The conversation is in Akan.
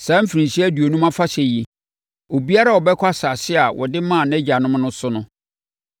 “ ‘Saa mfirinhyia aduonum afahyɛ yi, obiara bɛkɔ asase a wɔde maa nʼagyanom no so.